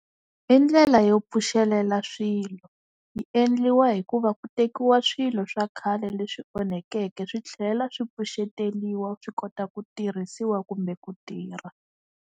I ndlela yo pfuxelela swilo, yi endliwa hi ku va ku tekiwa swilo swa khale leswi onhakeke swi tlhela swi pfuxeteliwa swi kota ku tirhisiwa kumbe ku tirha.